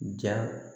Ja